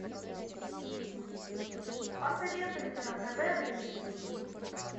посоветуй мне на тв рыжий